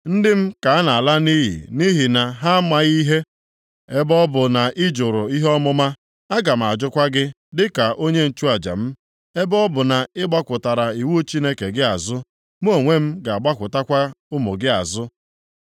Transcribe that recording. ndị m ka a na-ala nʼiyi nʼihi na ha amaghị ihe. “Ebe ọ bụ na ị jụrụ ihe ọmụma, aga m ajụkwa gị dị ka onye nchụaja m; ebe ọ bụ na ị gbakụtara iwu Chineke gị azụ mụ onwe m ga-agbakụtakwa ụmụ gị azụ.